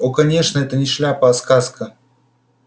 о конечно это не шляпа а сказка